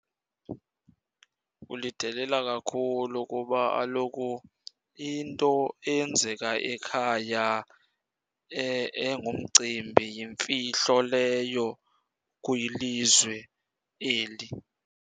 Kulidelela kakhulu kuba kaloku into eyenzeka ekhaya engumcimbi yimfihlo leyo kwilizwe eli.